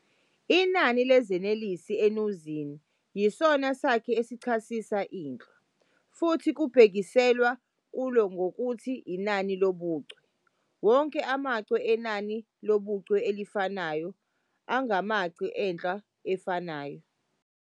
Inani lezinelesi enuzini yisona sakhi esichasisa inhlwa, futhi kubhekiselwa kulo ngokuthi inani lobuchwe - wonke amachwe enani lobuchwe elifanayo angamachwe enhlwa efanayo.